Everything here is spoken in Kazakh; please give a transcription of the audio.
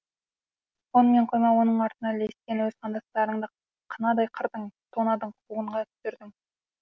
онымен қоймай оның артына ілескен өз қандастарыңды қынадай қырдың тонадың қуғынға түсірдің